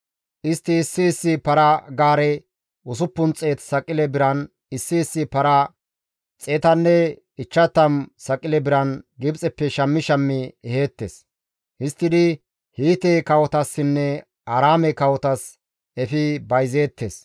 Istti issi issi para-gaare 600 saqile biran, issi issi para 150 saqile biran Gibxeppe shammi shammi eheettes; histtidi Hiite kawotassinne Aaraame kawotas efi bayzeettes.